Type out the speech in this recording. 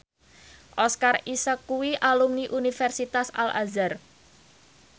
Oscar Isaac kuwi alumni Universitas Al Azhar